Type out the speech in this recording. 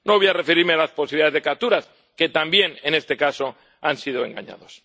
No voy a referirme a las posibilidades de capturas, que también en este caso han sido engañados.